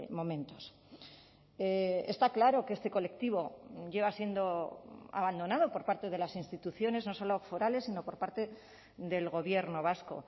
momentos está claro que este colectivo lleva siendo abandonado por parte de las instituciones no solo forales sino por parte del gobierno vasco